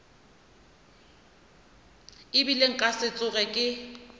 ebile nka se tsoge ke